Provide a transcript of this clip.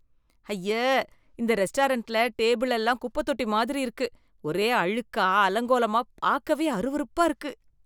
ஐய்ய! இந்த ரெஸ்டாரண்ட்ல டேபிள் எல்லாம் குப்பைத் தொட்டி மாதிரி இருக்கு, ஒரே அழுக்கா, அலங்கோலமா, பாக்கவே அருவருப்பா இருக்கு.